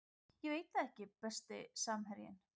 Ég veit það ekki Besti samherjinn?